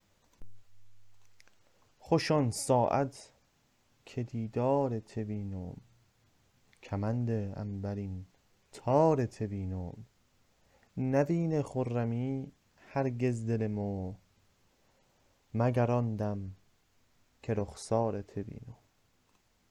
خوش آنساعت که دیدار ته وینم کمند عنبرین تار ته وینم نوینه خرمی هرگز دل مو مگر آن دم که رخسار ته وینم